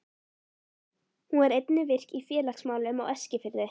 Hún var einnig virk í félagsmálum á Eskifirði.